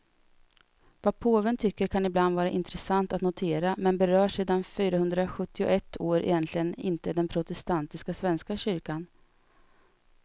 Vad påven tycker kan ibland vara intressant att notera, men berör sen fyrahundrasjuttioett år egentligen inte den protestantiska svenska kyrkan.